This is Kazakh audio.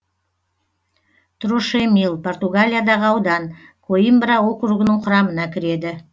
трошемил португалиядағы аудан коимбра округінің құрамына кіреді